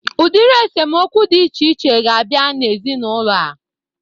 Udiri esemokwu dị iche iche ga-abịa n'ezinaụlọ a